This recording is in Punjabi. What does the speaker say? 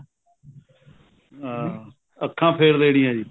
ਹਾਂ ਅੱਖਾਂ ਫ਼ੇਰ ਲੈਣੀਆਂ ਜੀ